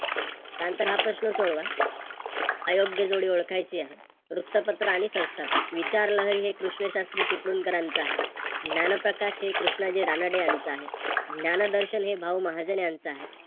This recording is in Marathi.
त्यानंतर हा प्रश्न सोडवा. अयोग्य जोडी ओळखायची आहे. वृत्तपत्र आणि संस्थापक कृष्ण शास्त्री चिपळूणकरांचे आहे, ज्ञानप्रकाश हे कृष्णाजी रानडे यांचं आहे, ज्ञानदर्शन हे भाऊ महाजन यांचं आहे